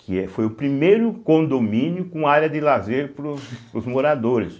que foi o primeiro condomínio com área de lazer para os moradores.